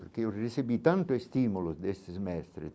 Porque eu recebi tanto estímulo destes mestres.